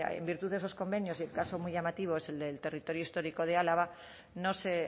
en virtud de esos convenios y el caso muy llamativo es del territorio histórico de álava no se